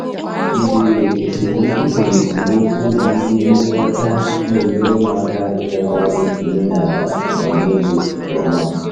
Izere esemokwu na ndị nlekọta na-enyere m aka ịgagharị n'omenala “oga m n'elu” nke ọma.